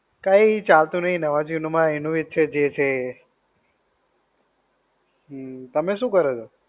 કઈ ચાલતું નહિ નવા-જૂની માં. એનું એ જ છે, જે છે એ. હમ, તમે શું કરો છો?